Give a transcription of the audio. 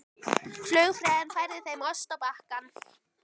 Flugfreyjan færði þeim ost á bakka.